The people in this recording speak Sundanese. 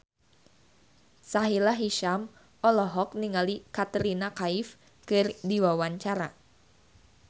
Sahila Hisyam olohok ningali Katrina Kaif keur diwawancara